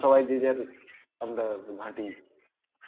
সবাই যে যার আমরা ঘাটি